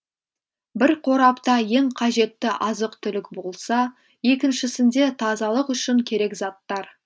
бір қорапта ең қажетті азық түлік болса екіншісінде тазалық үшін керек заттар